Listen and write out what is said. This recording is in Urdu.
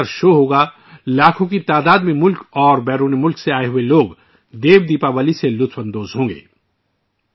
ایک لیزر شو ہوگا ، بھارت اور بیرون ملک سے لاکھوں لوگ ' دیو دیوالی ' سے لطف اندوز ہوں گے